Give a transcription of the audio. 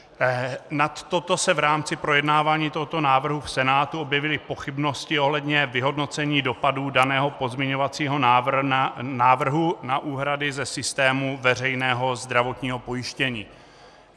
Nad toto se v rámci projednávání tohoto návrhu v Senátu objevily pochybnosti ohledně vyhodnocení dopadů daného pozměňovacího návrhu na úhrady ze systému veřejného zdravotního pojištění.